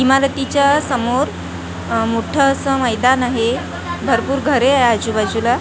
इमारतीच्या समोर अह मोठं असं मैदान आहे भरपूर घरे आहे आजूबाजूला--